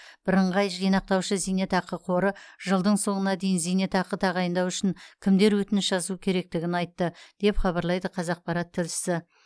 бірыңғай жинақтаушы зейнетақы қоры жылдың соңына дейін зейнетақы тағайындау үшін кімдер өтініш жазу керектігін айтты деп хабарлайды қазақпарат тілшісі